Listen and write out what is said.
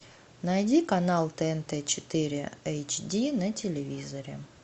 найди канал тнт четыре эйч ди на телевизоре